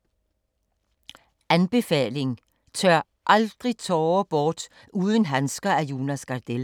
Anbefaling: Tør aldrig tårer bort uden handsker af Jonas Gardell